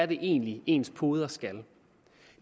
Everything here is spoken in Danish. det egentlig er ens poder skal